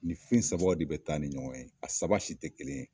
Ni fɛn saba de bi taa ni ɲɔgɔn ye, a saba si tɛ kelen ye